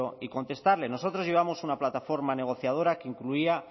y contestarle nosotros llevamos una plataforma negociadora que incluía